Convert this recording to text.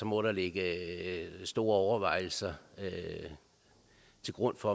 må ligge store overvejelser til grund for